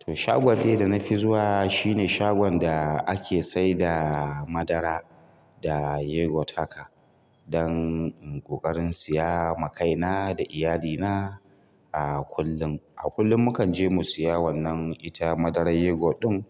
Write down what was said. To shagon dai da nafi zuwa shine shagon da ake saida madara da yogurt haka, don in ƙoƙarin siya ma kaina da iyalina a kullum. A kullum mukan je mu siya wannan ita madarar yogurt ɗin